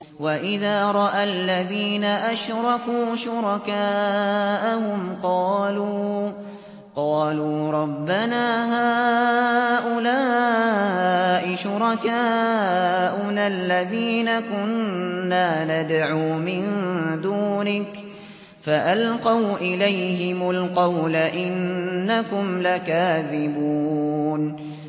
وَإِذَا رَأَى الَّذِينَ أَشْرَكُوا شُرَكَاءَهُمْ قَالُوا رَبَّنَا هَٰؤُلَاءِ شُرَكَاؤُنَا الَّذِينَ كُنَّا نَدْعُو مِن دُونِكَ ۖ فَأَلْقَوْا إِلَيْهِمُ الْقَوْلَ إِنَّكُمْ لَكَاذِبُونَ